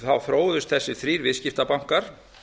þá þróuðust þessir þrír viðskiptabankar